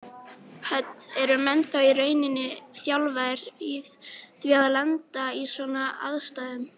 Hödd: Eru menn þá í rauninni þjálfaðir í því að lenda í svona aðstæðum?